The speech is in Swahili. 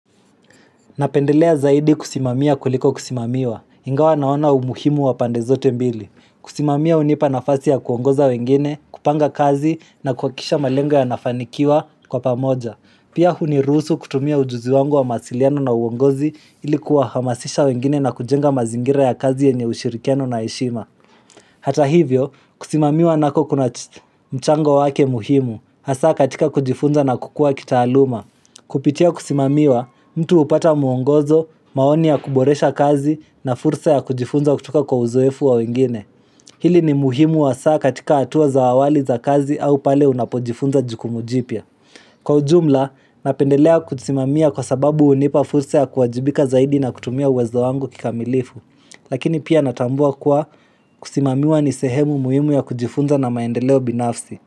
Napendelea zaidi kusimamiya kuliko kusimamiwa. Ingawa naona umuhimu wa pandezote mbili. Kusimamia hunipa nafasi ya kuongoza wengine, kupanga kazi na kuhakisha malengo yanafanikiwa kwa pamoja. Pia huniruhusu kutumia ujuzi wangu wa masiliano na uongozi ilikuwa hamasisha wengine na kujenga mazingira ya kazi yenye ushirikiano na heshima. Hata hivyo, kusimamiwa nako kuna mchango wake muhimu, hasa katika kujifunza na kukua kitaaluma. Kupitia kusimamiwa, mtu upata muongozo, maonia kuboresha kazi na fursa ya kujifunza kutoka kwa uzoefu wa wengine. Hili ni muhimu hasaa katika atuwa za awali za kazi au pale unapojifunza jukumu jipia. Kwa ujumla, napendelea kusimamia kwa sababu hunipa fursa ya kuajibika zaidi na kutumia uwezo wangu kikamilifu. Lakini pia natambua kywa kusimamiwa ni sehemu muhimu ya kujifunza na maendeleo binafsi.